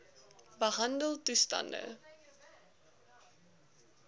behandeltoestande